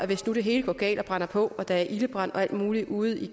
hvis nu det hele går galt og brænder på og der er ildebrand og alt muligt ude i